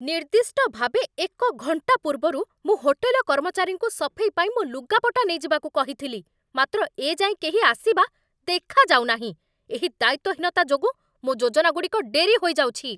ନିର୍ଦ୍ଦିଷ୍ଟ ଭାବେ ଏକ ଘଣ୍ଟା ପୂର୍ବରୁ ମୁଁ ହୋଟେଲ କର୍ମଚାରୀଙ୍କୁ ସଫେଇ ପାଇଁ ମୋ ଲୁଗାପଟା ନେଇଯିବାକୁ କହିଥିଲି, ମାତ୍ର ଏ ଯାଏଁ କେହି ଆସିବା ଦେଖାଯାଉ ନାହିଁ। ଏହି ଦାୟିତ୍ୱହୀନତା ଯୋଗୁଁ ମୋ ଯୋଜନାଗୁଡ଼ିକ ଡେରି ହୋଇଯାଉଛି!